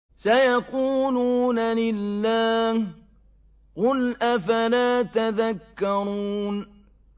سَيَقُولُونَ لِلَّهِ ۚ قُلْ أَفَلَا تَذَكَّرُونَ